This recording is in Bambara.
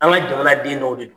An ka jamana den dɔw de don.